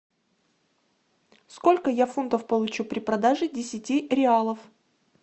сколько я фунтов получу при продаже десяти реалов